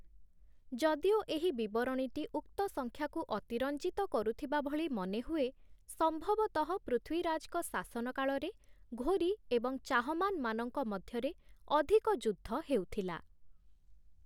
ଯଦିଓ ଏହି ବିବରଣୀଟି ଉକ୍ତ ସଂଖ୍ୟାକୁ ଅତିରଞ୍ଜିତ କରୁଥିବା ଭଳି ମନେହୁଏ, ସମ୍ଭବତଃ ପୃଥ୍ୱୀରାଜଙ୍କ ଶାସନକାଳରେ 'ଘୋରୀ' ଏବଂ 'ଚାହମାନ'ମାନଙ୍କ ମଧ୍ୟରେ ଅଧିକ ଯୁଦ୍ଧ ହେଉଥିଲା ।